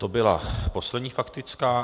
To byla poslední faktická.